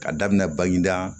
Ka daminɛ baginda